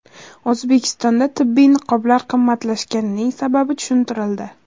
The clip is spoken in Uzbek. O‘zbekistonda tibbiy niqoblar qimmatlashganining sababi tushuntirildi .